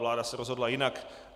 Vláda se rozhodla jinak.